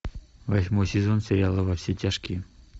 восьмой сезон сериала во все тяжкие